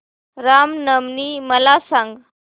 राम नवमी मला सांग